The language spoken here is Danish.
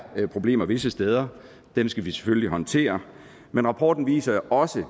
problemer visse steder og dem skal vi selvfølgelig håndtere men rapporten viser også